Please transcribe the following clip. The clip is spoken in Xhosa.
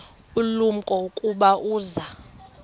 ulumko ukuba uza